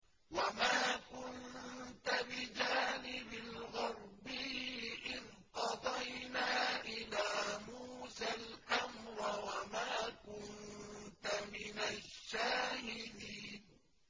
وَمَا كُنتَ بِجَانِبِ الْغَرْبِيِّ إِذْ قَضَيْنَا إِلَىٰ مُوسَى الْأَمْرَ وَمَا كُنتَ مِنَ الشَّاهِدِينَ